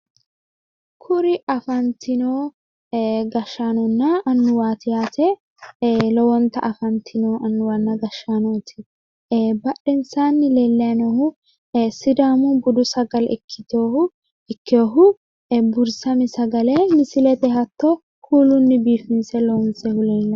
Kuri afantino gashshaanonna annuwaati yaate lowonta afantino annuwanna gashshdaanooti ee badhensaanni leellayi noohu sidaamu budu sagale ikkiteyoohu ikkeyoohu burisame sagale misilete hatto kuulunni biifinse loonsoyiihu leellawo.